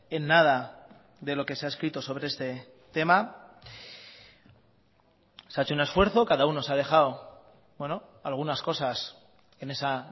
en nada de lo que se ha escrito sobre este tema se ha hecho un esfuerzo cada uno se ha dejado algunas cosas en esa